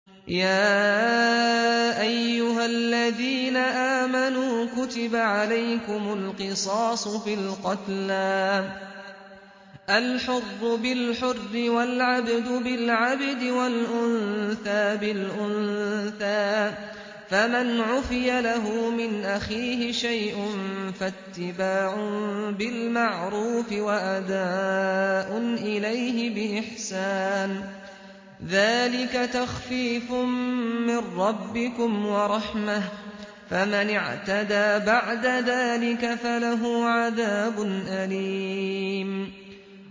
يَا أَيُّهَا الَّذِينَ آمَنُوا كُتِبَ عَلَيْكُمُ الْقِصَاصُ فِي الْقَتْلَى ۖ الْحُرُّ بِالْحُرِّ وَالْعَبْدُ بِالْعَبْدِ وَالْأُنثَىٰ بِالْأُنثَىٰ ۚ فَمَنْ عُفِيَ لَهُ مِنْ أَخِيهِ شَيْءٌ فَاتِّبَاعٌ بِالْمَعْرُوفِ وَأَدَاءٌ إِلَيْهِ بِإِحْسَانٍ ۗ ذَٰلِكَ تَخْفِيفٌ مِّن رَّبِّكُمْ وَرَحْمَةٌ ۗ فَمَنِ اعْتَدَىٰ بَعْدَ ذَٰلِكَ فَلَهُ عَذَابٌ أَلِيمٌ